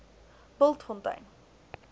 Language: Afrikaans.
bultfontein